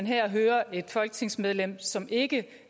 her hører et folketingsmedlem som ikke